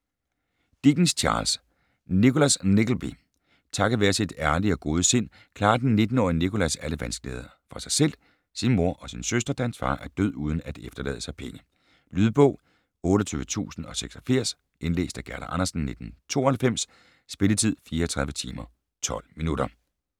Dickens, Charles: Nicholas Nickleby Takket være sit ærlige og gode sind klarer den 19-årige Nicholas alle vanskeligheder for sig selv, sin mor og sin søster, da hans far er død uden at efterlade sig penge. Lydbog 28086 Indlæst af Gerda Andersen, 1992. Spilletid: 34 timer, 12 minutter.